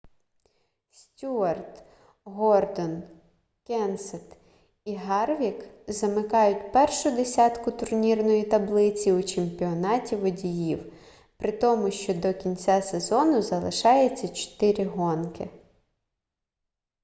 стюарт гордон кенсет і гарвік замикають першу десятку турнірної таблиці у чемпіонаті водіїв при тому що до кінця сезону залишається чотири гонки